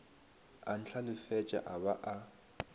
a ntlhalefetša a ba a